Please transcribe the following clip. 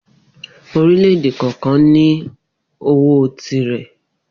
Orílè̩-èdè kò̩ò̩kan ní ó owó tirẹ̀.